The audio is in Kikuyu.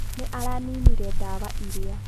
Nĩ araninire ndawa ira.